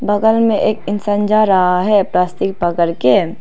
बगल में एक इंसान जा रहा है प्लास्टिक पकड़ के।